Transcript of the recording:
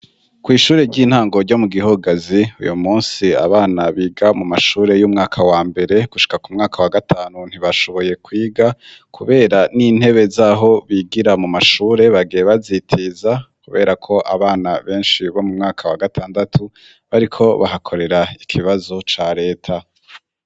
Kw ishure ry'intango ryo mu Gihogazi, uyu munsi abana biga mu mashure y'umwaka wa mbere gushika ku mwaka wa gatanu, ntibashoboye kwiga kubera n'intebe z'aho bigira mu mashure bagiye bazitiza; kubera ko abana benshi bo mu mwaka wa gatandatu bariko bahakorera ikibazo ca leta.